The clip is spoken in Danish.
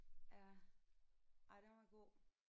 Ja ej den var god